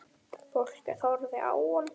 Fólkið horfði á hann.